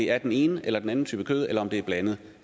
er den ene eller den anden type kød eller om det er blandet